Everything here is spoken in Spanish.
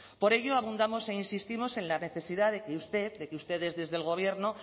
por ello abundamos e insistimos en la necesidad de que ustedes desde el gobierno